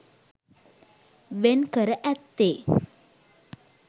වෙන්කර ඇත්තේ